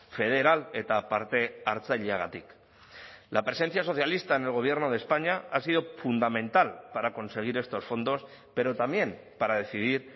federal eta parte hartzaileagatik la presencia socialista en el gobierno de españa ha sido fundamental para conseguir estos fondos pero también para decidir